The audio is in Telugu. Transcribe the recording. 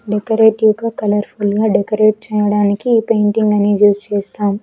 డెకరేటివ్ గా కలర్ఫుల్ గా డెకరేట్ చేయడానికి ఈ పెయింటింగ్ అనేది యూజ్ చేస్తారు.